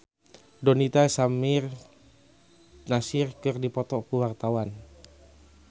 Donita jeung Samir Nasri keur dipoto ku wartawan